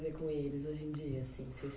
com eles hoje em dia assim? Vocês